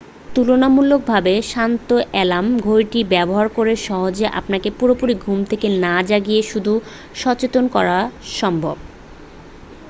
তুলনামূলকভাবে শান্ত অ্যালার্ম ঘড়িটি ব্যবহার করে সহজেই আপনাকে পুরোপুরি ঘুম থেকে না জাগিয়ে শুধু সচেতন করা সম্ভব